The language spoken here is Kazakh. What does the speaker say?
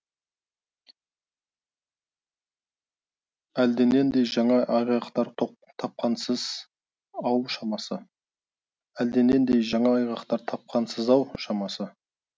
әлденендей жаңа айғақтар тапқансыз ау шамасы әлденендей жаңа айғақтар тапқансыз ау шамасы